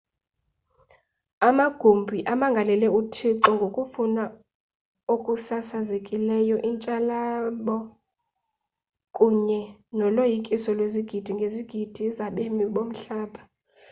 amagumbi amangalele uthixo ngokufa okusasazekileyo intshabalalo kunye noloyikiso lwezigidi ngezigidi zabemi bomhlaba